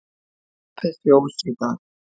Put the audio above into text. Opið fjós í dag